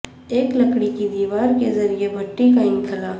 ایک لکڑی کی دیوار کے ذریعے بھٹی کا انخلا